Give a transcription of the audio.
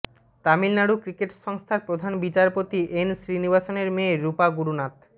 Tamil Nadu cricket সংস্থার প্রধান নির্বাচিত এন শ্রীনিবাসনের মেয়ে রূপা গুরুনাথ